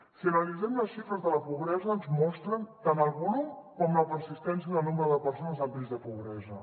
si analitzem les xifres de la pobresa ens mostren tant el volum com la persistència del nombre de persones en risc de pobresa